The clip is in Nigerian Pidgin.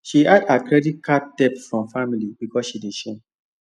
she hide her credit card debt from family because she dey shame